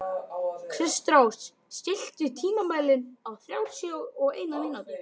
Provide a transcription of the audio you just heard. Kristrós, stilltu tímamælinn á þrjátíu og eina mínútur.